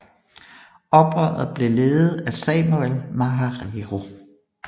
Oprøret blev ledet af Samuel Maharero